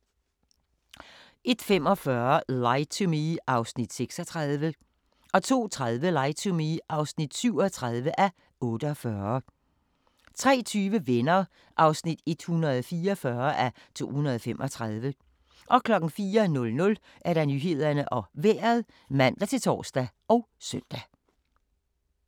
01:45: Lie to Me (36:48) 02:30: Lie to Me (37:48) 03:20: Venner (144:235) 04:00: Nyhederne og Vejret (man-tor og søn)